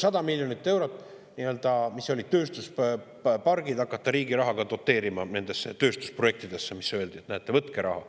100 miljonit eurot oli selleks, et hakata riigi rahaga doteerima tööstusprojekte – öeldi, et näete, võtke raha.